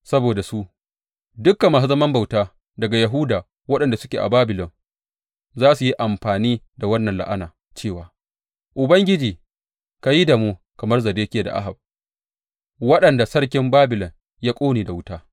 Saboda su, dukan masu zaman bauta daga Yahuda waɗanda suke a Babilon za su yi amfani da wannan la’ana cewa, Ubangiji ka yi da mu kamar Zedekiya da Ahab waɗanda sarkin Babilon ya ƙone da wuta.’